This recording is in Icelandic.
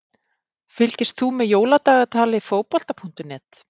Fylgist þú með Jóladagatali Fótbolta.net?